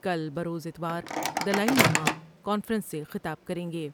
کل بروز اتوار دلائی لامہ کا نفرنس سے خطا ب کر یں گے ۔